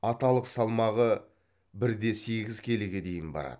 аталық салмағы бір де сегіз келіге дейін барады